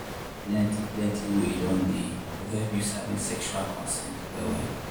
plenty plenty way don dey to help you sabi sexual consent well well.